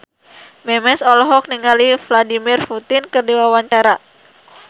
Memes olohok ningali Vladimir Putin keur diwawancara